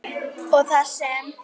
og þar sem